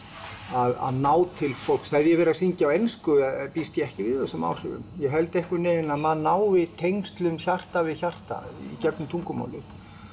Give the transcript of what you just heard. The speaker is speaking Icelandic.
að ná til fólks hefði ég verið að syngja á ensku býst ég ekki við þessum áhrifum ég held einhvern veginn að maður nái tengslum hjarta við hjarta í gegnum tungumálið